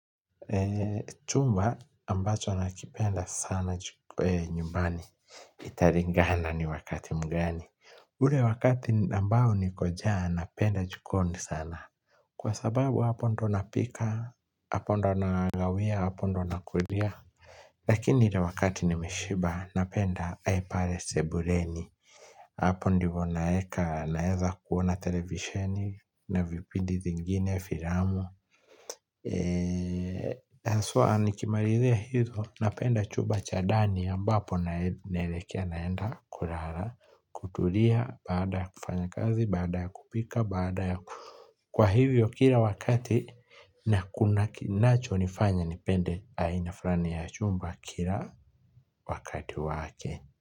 Chumba ambacho nakipenda sana nyumbani italingana ni wakati mgani ule wakati ambao niko njaa napenda jikoni sana kwa sababu hapo ndo napika hapo ndo nanawia hapo ndo nakulia lakini ile wakati nimeshiba napenda pale sebuleni hapo ndipo naeka naeza kuona televisheni na vipindi zingine, filamu haswa, nikimalizia hizo, napenda chumba cha ndani ambapo naelekea naenda kulala kutulia baada ya kufanya kazi baada ya kupika baada ya. Kwa hivyo kila wakati na kuna kinachonifanya nipende aina fulani ya chumba kila wakati wake.